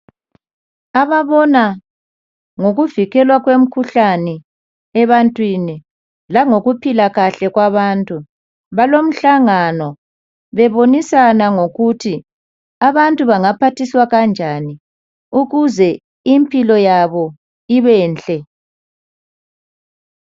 Ababona ngokuvikelwa kwemikhuhlane ebantwini langokuphila kahle kwabantu balomhlangano bebonisana ngokuthi abantu bangaphathiswa kanjani ukuze impilo yabo ibenhle.